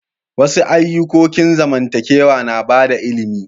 Wasu ayukokin zamantakewa na bada ilimi.